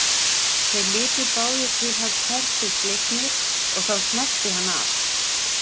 Þeir litu báðir til hans felmtri slegnir og þá smellti hann af.